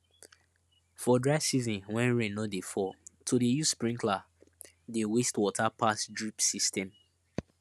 for dry season when rain no dey fall to dey use sprinkler dey waste water pass drip system